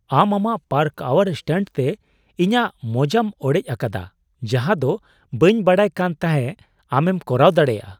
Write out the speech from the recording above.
ᱟᱢ ᱟᱢᱟᱜ ᱯᱟᱨᱠᱟᱣᱟᱨ ᱥᱴᱟᱱᱴ ᱛᱮ ᱤᱧᱟᱹᱜ ᱢᱳᱡᱟᱢ ᱚᱲᱮᱡᱽ ᱟᱠᱟᱫᱟ ᱡᱟᱦᱟᱸ ᱫᱚ ᱵᱟᱹᱧ ᱵᱟᱰᱟᱭ ᱠᱟᱱ ᱛᱟᱦᱮᱸᱫ ᱟᱢᱮᱢ ᱠᱚᱨᱟᱣ ᱫᱟᱲᱮᱭᱟᱜᱼᱟ ᱾